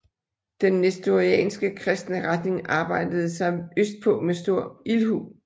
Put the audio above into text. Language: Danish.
Den nestorianske kristne retning arbejdede sig østpå med stor ildhu